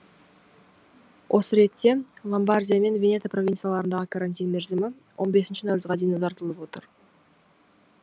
осы ретте ломбардия мен венето провинцияларындағы карантин мерзімі он бесінші наурызға дейін ұзартылып отыр